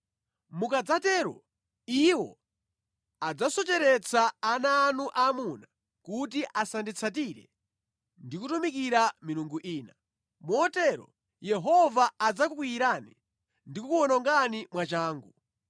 Mukadzatero, iwo adzasocheretsa ana anu aamuna kuti asanditsatire ndi kutumikira milungu ina. Motero Yehova adzakukwiyirani ndi kukuwonongani mwachangu.